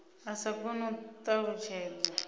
a sa koni u ṱalutshedza